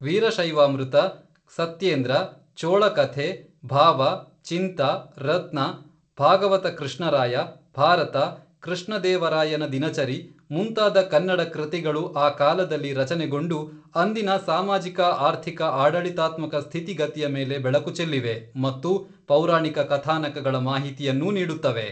ವೀರಶೈವಾಮೃತ, ಸತ್ಯೇಂದ್ರ, ಚೋಳ ಕಥೆ, ಭಾವ, ಚಿಂತಾ, ರತ್ನ, ಭಾಗವತ ಕೃಷ್ಣ ರಾಯ, ಭಾರತ, ಕೃಷ್ಣ ದೇವರಾಯನ ದಿನಚರಿ, ಮುಂತಾದ ಕನ್ನಡ ಕೃತಿಗಳು ಆ ಕಾಲದಲ್ಲಿ ರಚನೆಗೊಂಡು ಅಂದಿನ ಸಾಮಾಜಿಕ ಆರ್ಥಿಕ ಆಡಳಿತಾತ್ಮಕ ಸ್ಥಿತಿಗತಿಯ ಮೇಲೆ ಬೆಳಕು ಚೆಲ್ಲಿವೆ, ಮತ್ತು ಪೌರಾಣಿಕ ಕಥಾನಕಗಳ ಮಾಹಿತಿಯನ್ನೂ ನೀಡುತ್ತವೆ